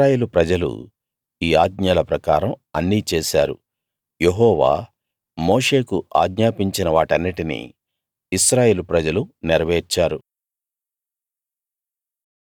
ఇశ్రాయేలు ప్రజలు ఈ ఆజ్ఞల ప్రకారం అన్నీ చేసారు యెహోవా మోషేకు ఆజ్ఞాపించిన వాటన్నిటినీ ఇశ్రాయేలు ప్రజలు నెరవేర్చారు